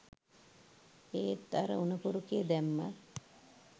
ඒත් අර උණපුරුකේ දැම්මත්